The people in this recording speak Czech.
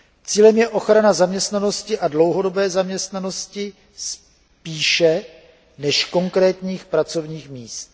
Cílem je ochrana zaměstnanosti a dlouhodobé zaměstnanosti spíše než konkrétních pracovních míst.